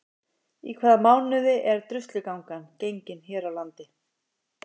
Í hvaða mánuði er Druslugangan gengin hér á landi?